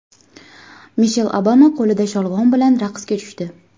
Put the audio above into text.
Mishel Obama qo‘lida sholg‘om bilan raqsga tushdi .